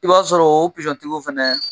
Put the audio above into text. I b'a sɔrɔ tigiw fana